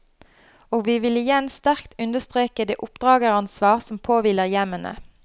Og vi vil igjen sterkt understreke det oppdrageransvar som påhviler hjemmene.